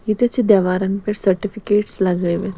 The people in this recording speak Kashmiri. ییٚتٮ۪تھ چھ دیوارن پٮ۪ٹھ سرٹِفِکیٹس .لگٲوِتھ